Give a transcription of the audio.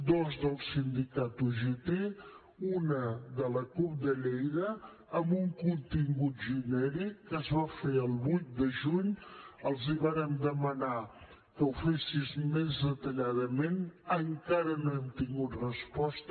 dues del sindicat ugt una de la cup de lleida amb un contingut genèric que es va fer el vuit de juny els vàrem demanar que ho fessin més detalladament encara no n’hem tingut resposta